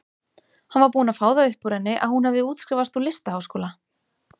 Hann var búinn að fá það upp úr henni að hún hefði útskrifast úr listaháskóla.